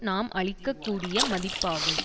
நாம் அளிக்க கூடிய மதிப்பாகும்